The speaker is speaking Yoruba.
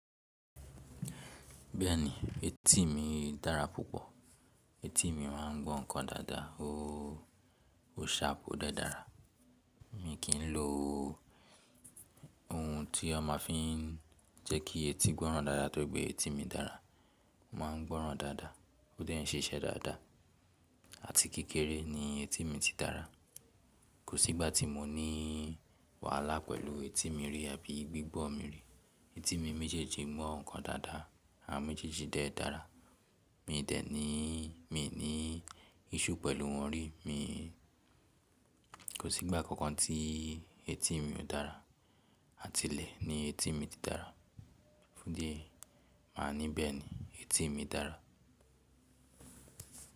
Bẹ́ẹ̀ni, etí mi dára púpọ̀. Etí mi máa ń gbọ́ ǹkan dáadáa. Oóóó ṣharp o dé dàrá. Mi kì í lò ohun tí wọ́n ma fi ń jẹ́ kí etí gbọ́ran dáadáa tóri pe etí mi dára. O maa ń gbọ́ran dáadáa, ó dẹ́ nṣiṣẹ́ dáadáa àti kékeré ni etí mi ti dára. Kò sí ìgbà tí mo ní wàhálà pẹ̀lú etí mi rí àbí gbígbọ́ mi rí. Etí mi méjèèjì ngbọ́ ǹkan dáadáa àwon méjèèjì dé dàrá. Mi dẹ̀ ní, mi ní iṣsue pẹ̀lú wọn rí. Mi, kò sí ìgbà kankan tí etí mi ò dára àti ilẹ̀ ni etí mi ti dára. Fun idi ẹ́yi máa ní bẹ́ẹ̀ ni, etí mi dára.